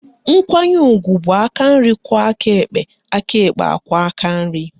Nkwanye ugwu bụ aka nri kwo aka ekpe aka ekpe ekwe aka nri